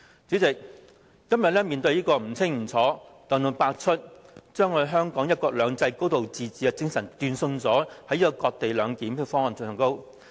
主席，今天面對這個不清不楚，把香港"一國兩制"及"高度自治"的精神斷送的這個"割地兩檢"方案。